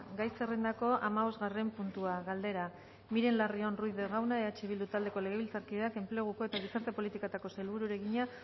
gai zerrendako hamabosgarren puntua galdera miren larrion ruiz de gauna eh bildu taldeko legebiltzarkideak enpleguko eta gizarte politiketako sailburuari egina